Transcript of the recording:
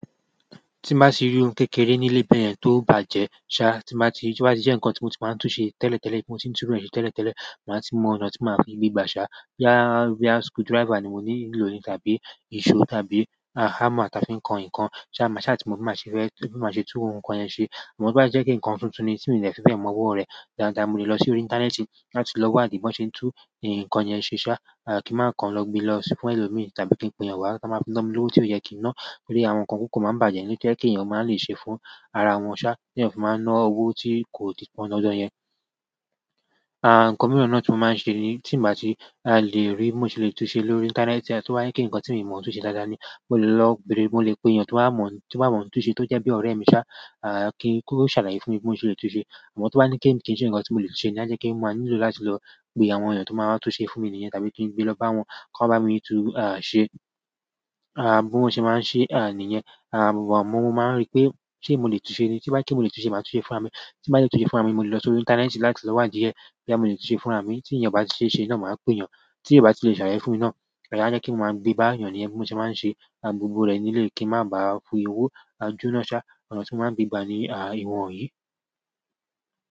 Tí mo bá sì rí ohun kékeré nílé bẹ́ẹ̀ yẹn tó bàjẹ́ ṣá, tí mo bá ti rí pé tí ó bá jẹ́ ǹkan tí mo ti máa ń tún ṣe tẹ́lẹ̀tẹ́lẹ̀, tí mo ti ń tún ó ṣe tẹ́lẹ̀tẹ́lẹ̀, màá ti mọ ọ̀nà tí mo máa fi gbígba ṣá. Boyá, boyá screwdriver ni mo ní ń lò ni, tàbí ìṣó tàbí hammer táa fi ń kan ǹkan ṣá, ṣá tí mo bá máa ṣe fẹ́, tí mo bá máa ṣe tú ohun kan yẹn ṣe. Ṣùgbọ́n ti o bá jẹ́ pé ǹkan tuntun ni tí mi ò dẹ̀ fi bẹ̀ẹ̀ mọ ọwọ rẹ̀, dáadáa mo lè lọ sí orí ìńtánẹ́ẹ̀tì láti lọ wádìí bí wọ́n ṣe ń tú ǹkan yẹn ṣe ṣá, kí máa kan lọ gbe lọ sí fún ẹlòmíràn tàbí kí n pe èèyàn wá, tí a máa fi ná mi lówo i tí ó yẹ kí n ná. Torí àwọn nǹkan kọ̀ọ̀kan ó máa ń bàjẹ́ nílé tó jẹ́ kí èèyàn ó máa le ṣe fún ara wọn ṣá, tí èèyàn kò máa ná owó tí kò ti pọ́n dandan yẹn. À, ǹkan mìíràn náà tí mo máa ń ṣe ni tí mo bá ti lè rí bó mo ṣe lè tún ṣe lórí ìńtánẹ́ẹ̀tì, tí wọ́n bá ní kí ǹkan tí mo ò mọ̀ bó ṣe lè tún ṣe dáadáa ni, mo lè lọ bere, mo lè pe èèyàn tí wọ́n bá mọ̀, tí wọ́n bá mọ ń tún ṣe tó jẹ́ bí ọ̀rẹ́ mi ṣá, à, kí ó ṣàlàyé fún mi bó mo ṣe lè tún ṣe. Àmọ́ tí wọ́n bá ní kí n ṣe ǹkan tí mò le ṣe ní àṣẹ kí mo máa nílò láti lọ pé àwọn èèyàn tó máa tún ṣe fún mi nìyẹn tàbí kí n gbe lọ bá wọn kó bá mi tún, à, ṣe, à, bó mo ṣe máa ń ṣe, à, nìyẹn. Gbogbo òun mo máa ń rí pé ṣé mo lè tún ṣe ni. Ti bá yé kí mo lè tún ṣe, màá tún ṣe fúnra mi. Ti bá yẹ kó tún ṣe fún àmi, mo lè lọ sí orí ìńtánẹ́ẹ̀tì láti lọ wádìí ẹ bí à mo lè tún ṣe fún àmi. Tí ǹjẹ́ ọba ṣe ṣe náà, màá pè èèyàn. Tí èèyàn bá ti lè ṣàlàyé fún mi náà, à, àṣẹ kí mo máa gbé bá èèyàn ní ẹni pé mo ṣe máa ń ṣe gbogbo rẹ̀ nílé kí ń má ba fún owó ojú ná ṣá. Ọ̀nà tí mo máa ń gbé gbà ni, à, ìwọ̀n òye.